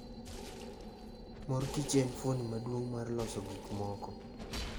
Mor kich en fuoni maduong' mar loso gik moko.